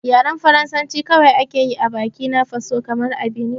Yaren Faransa kawai ake yi a bakina faso kamar a Binin